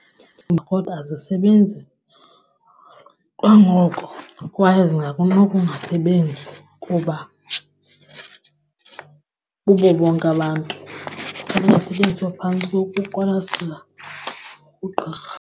kodwa azisebenzi kwangoko kwaye zingakunokungasebenzi kuba bubo bonke abantu xa lingasetyenziswa phantsi kokuqwalasela ugqirha.